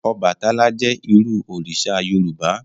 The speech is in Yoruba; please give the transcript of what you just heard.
Ọbàtálá jẹ́ irú òrìṣà Yorùbá